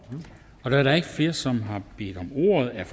da der ikke er flere som har bedt om ordet er